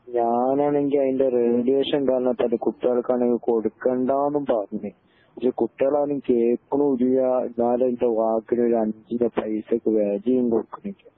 ഞാൻ ആണെങ്കി അയിൻ്റെ റേഡിയേഷൻ കാരണം ഇപ്പൊ അത് കുട്ടികൾക്ക് ആണെങ്കി കൊടുക്കണ്ടാന്നും പറഞ്ഞു ഇത് കുട്ടികൾ ആണെങ്കി കേൾക്കുന്നുമില്ല എന്നാൽ ഇൻ്റെ വാക്കിന് ഒരു അഞ്ചിൻ്റെ പൈസക്ക് വേലേം കൊടുക്കണില്ല